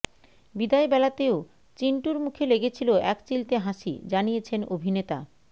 বিদায়বেলাতেও চিন্টুর মুখে লেগে ছিল একচিলতে হাসি জানিয়েছেন অভিনেতা